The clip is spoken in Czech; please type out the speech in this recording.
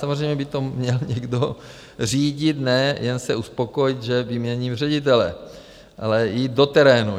Samozřejmě by to měl někdo řídit, ne jen se uspokojit, že vyměním ředitele, ale jít do terénu.